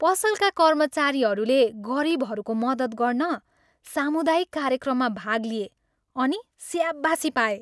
पसलका कर्मचारीहरूले गरिबहरूको मद्दत गर्न सामुदायिक कार्यक्रममा भाग लिए अनि स्याबासी पाए।